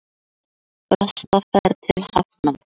Fresta ferð til Hafnar